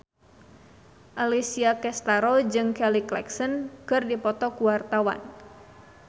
Alessia Cestaro jeung Kelly Clarkson keur dipoto ku wartawan